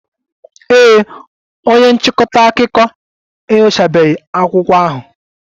Ee e, onye nchịkọta akụkọ enyochabeghị akwụkwọ ahụ